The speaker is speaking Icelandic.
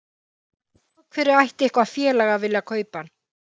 En af hverju ætti eitthvað félag að vilja kaupa hann?